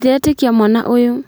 Ndiretĩkia mwana ũyũ